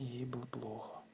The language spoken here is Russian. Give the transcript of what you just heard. и ей было плохо